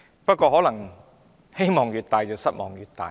不過，可能希望越大，失望越大。